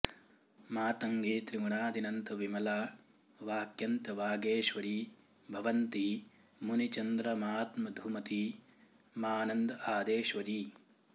मातङ्गी त्रिगुणादिनन्त विमला वाक्यन्तवागेश्वरी भवन्ती मुनिचन्द्रमात्मधुमती मानन्द आदेश्वरी